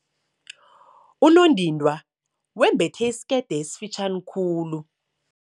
Unondindwa wembethe isikete esifitjhani khulu.